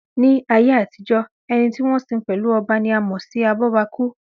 Ní ayé àtijọ́, ẹni tí wọ́n sin pẹ̀lú ọba ni a mọ̀ sí abọ́bakú